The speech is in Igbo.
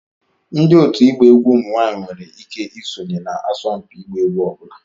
Ndị òtù ịgba egwu ụmụ nwanyị nwere ike isonye na asọmpi ịgba egwu ọ bụla